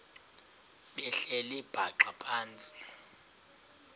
behleli bhaxa phantsi